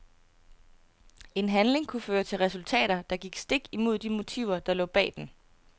En handling kunne føre til resultater, der gik stik imod de motiver der lå bag den.